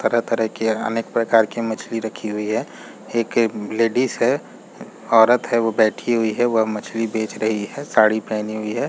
तरह - तरह की अनेक प्रकार की मछली रखी हुई है एक लेडिस है औरत और बैठी हुई है वह मछली बेच रही है साड़ी पहनी हुई है।